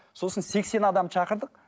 сосын сексен адам шақырдық